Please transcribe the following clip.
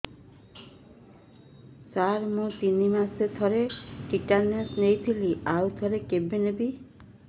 ସାର ମୁଁ ତିନି ମାସରେ ଥରେ ଟିଟାନସ ନେଇଥିଲି ଆଉ ଥରେ କେବେ ନେବି